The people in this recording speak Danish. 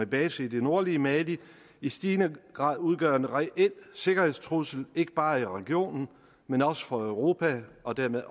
base i det nordlige mali i stigende grad udgør en reel sikkerhedstrussel ikke bare i regionen men også for europa og dermed